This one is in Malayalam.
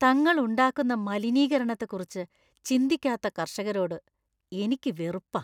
തങ്ങൾ ഉണ്ടാക്കുന്ന മലിനീകരണത്തെക്കുറിച്ച് ചിന്തിക്കാത്ത കർഷകരോട് എനിക്ക് വെറുപ്പാ.